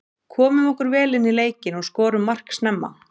Komum okkur vel inní leikinn og skorum mark snemma.